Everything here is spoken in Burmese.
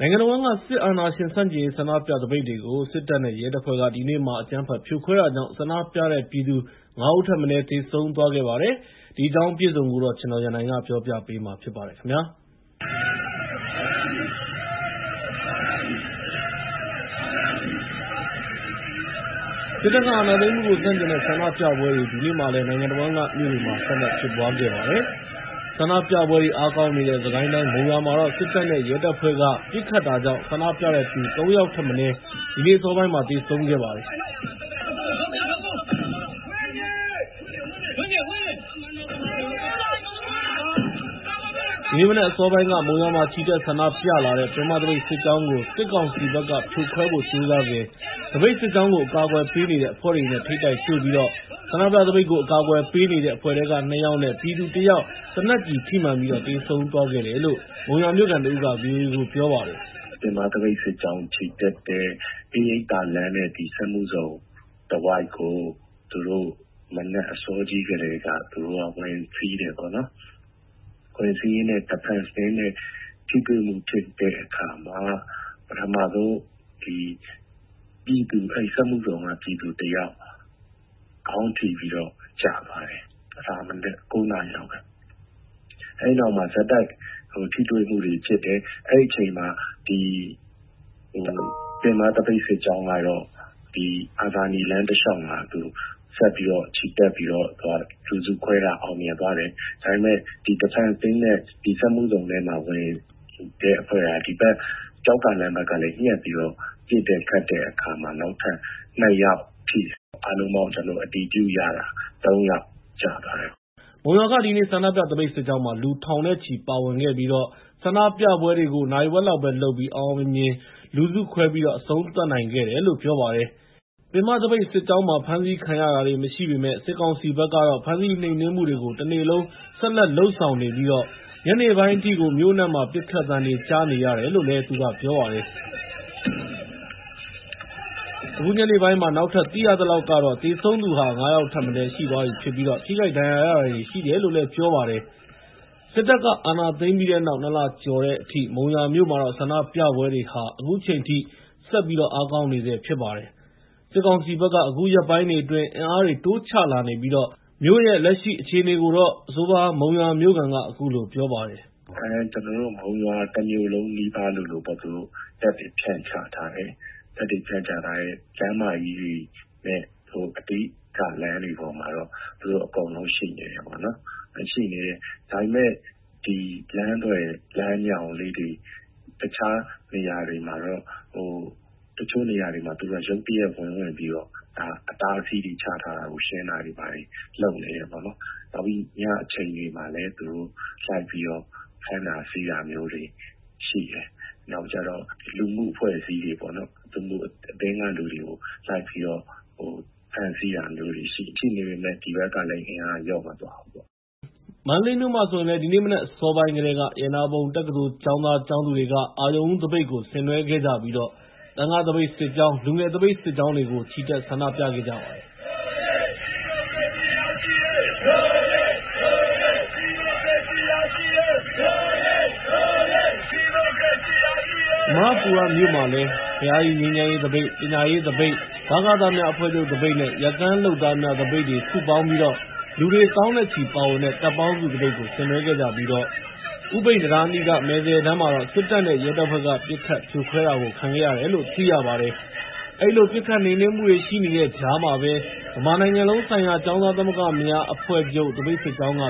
နိုင်ငံတဝန်းက စစ်အာဏာရှင်ဆန့်ကျင်ရေး ဆန္ဒပြသပိတ်တွေကို စစ်တပ်နဲ့ ရဲတပ်ဖွဲ့တွေက ဒီနေ့မှာ အကြမ်းဖက် ဖြိုခွဲခဲ့တာကြောင့် ဆန္ဒပြပြည်သူ ၅ ဦးထက်မနည်း သေဆုံးသွားခဲ့ပါတယ်။ ဒီအကြောင်းအပြည့်အစုံကို ကိုရန်နိုင်က ပြောပြသွားမှာဖြစ်ပါတယ်။ စစ်တပ်က အာဏာသိမ်းမှုကို ဆန့်ကျင်တဲ့ ဆန္ဒပြပွဲတွေ ဒီနေ့မှာလည်း နိုင်ငံတဝန်းက မြို့တွေမှာ ဆက်လက်ဖြစ်ပွားခဲ့ပါတယ်။ ဆန္ဒပြပွဲတွေ အားကောင်းနေတဲ့ စစ်ကိုင်းတိုင်း မုံရွာမြို့မှာတော့ စစ်တပ်နဲ့ ရဲတပ်ဖွဲ့တွေက ပစ်ခတ်တာကြောင့် ဆန္ဒပြတဲ့သူ ၃ ယောက်ထက်မနည်း သေဆုံးခဲ့ပါတယ်။ ဒီနေ့မနက်အစောပိုင်းကတော့ မုံရွာမှာ ချီတက်ဆန္ဒပြလာတဲ့ ပင်မသပိတ်စစ်ကြောင်းကို စစ်ကောင်စီဘက်က ဖြိုခွဲဖို့ကြိုးစားစဉ် သပိတ်စစ်ကြောင်းကို အကာအကွယ်ပေးနေတဲ့ အဖွဲ့တွေနဲ့ ထိပ်တိုက်တွေ့ပြီးတော့ ဆန္ဒပြသပိတ်ကို အကာအကွယ်ပေးနေတဲ့ အဖွဲ့ထဲက ၂ ယောက်နဲ့ ပြည်သူ ၁ ယောက် သေနတ်ကျည်ထိမှန်ပြီး သေဆုံးသွားခဲ့တယ်လို့ မုံရွာမြို့ခံတဦးက ဗွီအိုအေကို ပြောပါတယ်။ “ပင်မသပိတ်စစ်ကြောင်း ချီတက်တဲ့ အေးရိပ်သာလမ်းနဲ့ စက်မှုဇုန်တဝိုက်ကို မနက်အစောကြီးကတည်းက သူတို့က ဝင်စီးတယ်။ ဝင်စီးရင်းနဲ့ သပိတ်စစ်ကြောင်း ကာကွယ်ရေးအဖွဲ့ (Defense Team) နဲ့ ထိတွေ့မှုဖြစ်တဲ့အခါမှာ ပထမဆုံး စက်မှုဇုန်က ပြည်သူတယောက် ခေါင်းထိပြီးတော့ ကျသွားတယ်။ အဲဒါ မနက် ၉ နာရီလောက်က၊ အဲဒီနောက်မှာ ဆက်တိုက် ထိတွေ့မှုတွေဖြစ်တယ်။ အဲဒီအချိန်မှာ ပင်မသပိတ်စစ်ကြောင်းကတော့ အာဇာနည်လမ်းတလျှောက်မှာ ဆက်ပြီး ချီတက်ပြီးတော့ လူစုခွဲတာ အောင်မြင်သွားတယ်။ ဒါပေမယ့် Defense Team နဲ့ စက်မှုဇုန်ထဲမှာ ဝင်တဲ့အဖွဲ့က ဒီဘက် ကျောက္ကာလမ်းဘက်ကနေ ညှပ်ပြီးတော့ ပစ်ခတ်တဲ့အခါမှာ ၂ ယောက်ထိတယ်။ အားလုံးပေါင်း ကျနော်တို့ အတည်ပြုရတာ ၃ ယောက်ကျသွားတယ်။” မုံရွာက ဒီနေ့ ဆန္ဒပြသပိတ်စစ်ကြောင်းမှာ လူထောင်နဲ့ချီ ပါဝင်ခဲ့ကြပြီး ဆန္ဒပြပွဲတွေကိုတော့ နာရီဝက်လောက်ပဲလုပ်ပြီး အောင်အောင်မြင်မြင်နဲ့ လူစုခွဲပြီး အဆုံးသတ်နိုင်ခဲ့တယ်လို့ ပြောပါတယ်။ ပင်မသပိတ်စစ်ကြောင်းမှာ ဖမ်းဆီးခံရတာတွေ မရှိပေမယ့် စစ်ကောင်စီဘက်ကတော့ ဖမ်းဆီးနှိမ်နင်းမှုတွေကို တနေ့လုံး ဆက်လက်လုပ်ဆောင်နေပြီး ညနေပိုင်းအထိကို မြို့အနှံ့မှာ ပစ်ခတ်သံတွေ ကြားနေရတယ်လို့လည်း ပြောပါတယ်။ အခုညနေပိုင်းမှာ နောက်ထပ် သိရသလောက်တော့ သေဆုံးသူဟာ ၅ ယောက်ထက်မနည်း ရှိနေပြီး ထိခိုက်ဒဏ်ရာရတာတွေလည်း ရှိတယ်လို့ ပြောပါတယ်။ စစ်တပ်က အာဏာသိမ်းပြီးတဲ့နောက် ၂ လကျော်လာတဲ့အထိ မုံရွာမြို့မှာတော့ ဆန္ဒပြပွဲတွေဟာ အခုချိန်ထိ ဆက်လက်အားကောင်းနေဆဲ ဖြစ်ပါတယ်။ စစ်ကောင်စီဘက်ကလည်း အခုရက်ပိုင်းတွေအတွင်း အင်အားတွေ တိုးချလာနေပြီး မြို့ရဲ့ လက်ရှိအခြေအနေကိုတော့ အဆိုပါ မုံရွာမြို့ခံက အခုလိုပြောပါတယ်။ “ကျနော်တို့ မုံရွာတမြို့လုံးနီးပါးလိုလိုမှာ သူတို့တပ်တွေ ဖြန့်ချထားတယ်။ လမ်းမကြီးတွေနဲ့ အဓိကလမ်းတွေပေါ်မှာတော့ သူတို့ အကုန်လုံးရှိနေတယ်။ ဒါပေမယ့် လမ်းသွယ်၊ လမ်းမြှောင်လေးတွေ၊ တခြားနေရာတွေမှာတော့ သူတို့က ရုတ်တရက် ဝင်ပြီးတော့ အတားအဆီးတွေ ချထားတာတွေကို ရှင်းတာတွေ လုပ်နေတယ်။ နောက်ပြီး ညအချိန်တွေမှာလည်း သူတို့ ဖမ်းတာဆီးတာမျိုးတွေ ရှိတယ်။ နောက်ပြီးတော့ လူမှုအဖွဲ့အစည်းတွေ လူမှုအသင်းက လူတွေကို လိုက်ပြီးတော့ ဖမ်းဆီးတာတွေရှိတယ်။ အဲဒီလိုရှိနေပေမယ့် ဒီဘက်ကလည်း အင်အားက လျော့မသွားဘူး။” မန္တလေးမြို့မှာဆိုရင်လည်း ဒီနေ့မနက် အစောပိုင်းကတည်းက ရတနာပုံတက္ကသိုလ်ကျောင်းသား၊ ကျောင်းသူတွေက အရုဏ်ဦးသပိတ်ကို ဆင်နွဲှခဲ့ကြပြီး သံဃာ့သမဂ္ဂသပိတ်စစ်ကြောင်း၊ လူငယ်သပိတ်စစ်ကြောင်းတွေကလည်း ချီတက် ဆန္ဒပြခဲ့ကြပါတယ်။ အမရပူရမြို့က ဘုရားကြီး ငြိမ်းချမ်းရေးသပိတ်၊ ပညာရေးမိသားစုသပိတ်၊ ဗကသများအဖွဲ့ချုပ်သပိတ်နဲ့ ရက်ကန်းလုပ်သားများသပိတ်တွေ စုပေါင်းပြီး လူတွေ သောင်းနဲ့ချီပါဝင်တဲ့ တပ်ပေါင်းစုသပိတ်ကို ဆင်နွဲှခဲ့ကြပြီး ဦးပိန်တံတားအနီးက မယ်ဇယ်တန်းမှာ စစ်တပ်နဲ့ ရဲတပ်ဖွဲ့ ပစ်ခတ်ဖြိုခွဲခဲ့တယ်လို့ သိရပါတယ်။ အဲဒီလို ပစ်ခတ်နှိမ်နင်းမှုတွေ ရှိနေတဲ့ကြားမှာပဲ ဗမာနိုင်ငံလုံးဆိုင်ရာ ကျောင်းသားသမဂ္ဂများ အဖွဲ့ချုပ် သပိတ်စစ်ကြောင်းဟာ